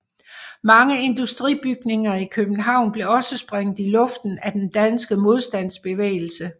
Mange industribygninger i København blev også sprængt i luften af den danske modstandsbevægelse